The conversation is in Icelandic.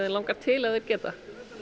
langar til ef þeir geta